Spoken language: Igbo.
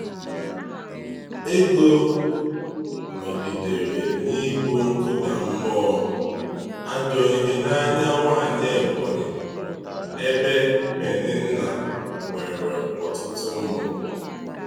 Égó nọgidere n’ibu nkụda mmụọ, ajọ ihe n’anya nwaanyị Ebonyi, ebe Pèninnà nwere ọtụtụ ụmụ.